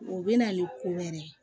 O bɛ na ni ko wɛrɛ ye